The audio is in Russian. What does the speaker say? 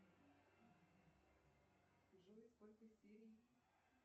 джой сколько серий